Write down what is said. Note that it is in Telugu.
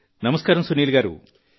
నమస్కారం సునీల్ గారూ